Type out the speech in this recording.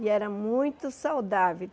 E era muito saudável.